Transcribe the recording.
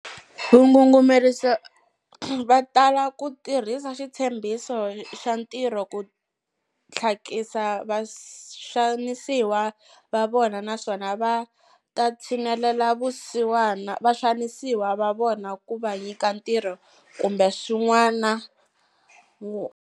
Vangungumerisi va tala ku tirhisa xitshembhiso xa ntirho ku tlhakisa vaxanisiwa va vona naswona va ta tshinelela vaxanisiwa va vona ku va nyika ntirho kumbe swin'wana.